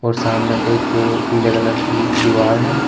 और सामने एक पीले कलर की दीवार है।